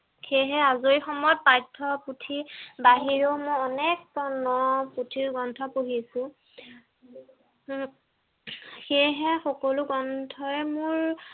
সেই হে আজৰি সময়ত পঠ্য পুথি বাহিৰ মনে পুথিৰ গ্ৰন্থ পঢ়িছো সেই হে সকলো গ্ৰন্থই মোৰ